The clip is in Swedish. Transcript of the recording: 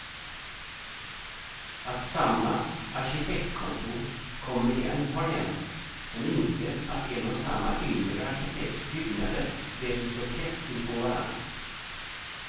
Att samma arkitektkontor kommer igen har hänt, men inte att en och samme yngre arkitekts byggnader väljs så tätt in på varann.